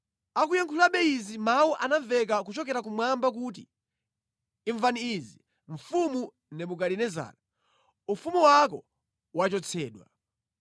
Akuyankhulabe izi mawu anamveka kuchokera kumwamba kuti, “Imvani izi, mfumu Nebukadinezara: Ufumu wako wachotsedwa.